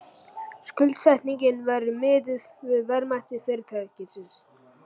Skuldsetningin verði miðuð við verðmæti fyrirtækisins